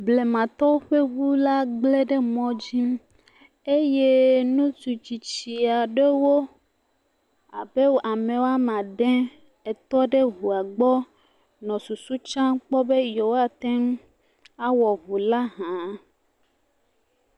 Blematɔwo ƒe ŋu la gblẽ le mɔ dzi eye ŋutsua tsitsi aɖewo abe ame woame ade etɔ ɖe ŋua gbɔ nɔ susu tiam kpɔ be yeawoate ŋu awɔ ŋu la hã.